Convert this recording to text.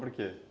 por quê?